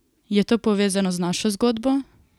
Je to povezano z našo zgodbo?